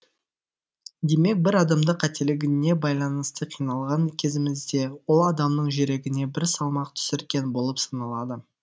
демек бір адамды қателігіне байланысты кінәлаған кезімізде ол адамның жүрегіне бір салмақ түсірген болып саналады